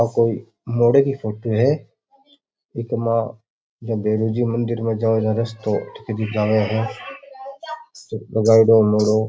आ कोई मोड़े कि फोटो है एकमा गुरुजी मंदिर मे जाओ रस्तो किबि जाबे है उजयडों मोड़ो --